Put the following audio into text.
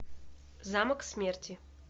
замок смерти